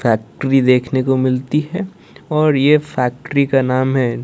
Factory देखने को मिलती है और ये फैक्ट्री का नाम है।